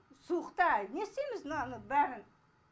суықта не істейміз мынаның бәрін